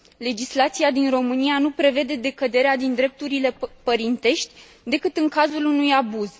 Legislația din România nu prevede decăderea din drepturile părintești decât în cazul unui abuz.